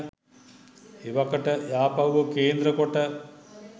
එවකට යාපහුව කේන්ද්‍ර කොට